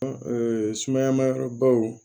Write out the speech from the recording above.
sumaya ma yɔrɔbaw